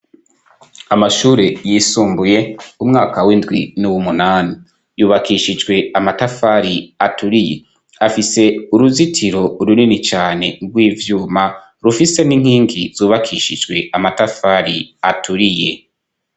amashure yisumbuye umwaka w'indwi n'uw'umunani yubakishijwe amatafari aturiye afise uruzitiro runini cane rw'ivyuma rufise n'inkingi zubakishijwe amatafari aturiye